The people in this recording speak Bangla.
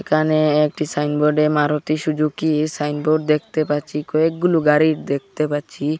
এখানে একটি সাইন বোর্ডে মারুতি সুজুকি সাইন বোর্ড দেখতে পাচ্ছি কয়েক গুলু গাড়ির দেখতে পাচ্ছি।